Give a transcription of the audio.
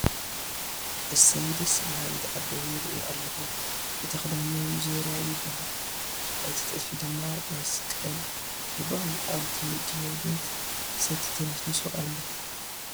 እሰይ ደስ በሃሊት ኣዲ ይርኢ ኣሎኹ እቱ ኽዳነን ዙርያ ይበሃል እቲ ጥልፉ ድማ መስቐል ይበሃል ፡ ኣብት ምድርቤት ሰቲ ተነስኒሱ ኣሎ ።